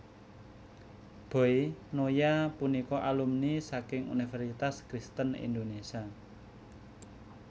Boy Noya punika alumni saking Universitas Kristen Indonesia